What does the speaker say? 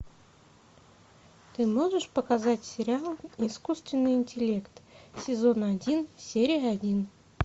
ты можешь показать сериал искусственный интеллект сезон один серия один